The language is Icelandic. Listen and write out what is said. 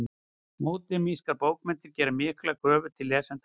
Módernískar bókmenntir gera miklar kröfur til lesenda sinna.